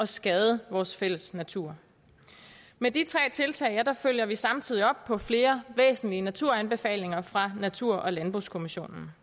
skade vores fælles natur med de tre tiltag følger vi samtidig op på flere væsentlige naturanbefalinger fra natur og landbrugskommissionen